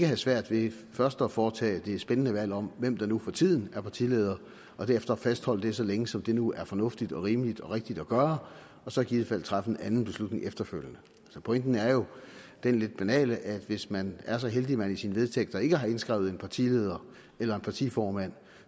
have svært ved først at foretage det spændende valg om hvem der nu for tiden er partileder og derefter fastholde det så længe som nu er fornuftigt og rimeligt og rigtigt at gøre og så i givet fald træffe en anden beslutning efterfølgende pointen er jo den lidt banale at hvis man er så heldig at man i sine vedtægter ikke har indskrevet en partileder eller en partiformand